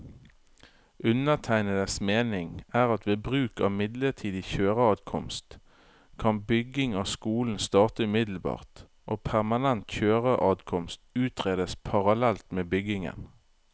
Undertegnedes mening er at ved bruk av midlertidig kjøreadkomst, kan bygging av skolen starte umiddelbart og permanent kjøreadkomst utredes parallelt med byggingen.